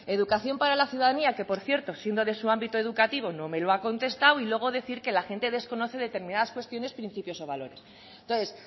educación para la ciudadanía que por cierto siendo de su ámbito educativo no me lo ha contestado y luego decir que la gente desconoce determinadas cuestiones principios o valores entonces